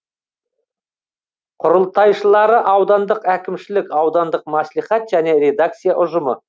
құрылтайшылары аудандық әкімшілік аудандық мәслихат және редакция ұжымы